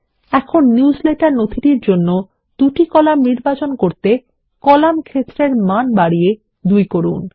এখন নিউজলেটার নথিটির জন্য ২ কলাম নির্বাচন করতে কলাম ক্ষেত্রের মান বাড়িয়ে ২ করুন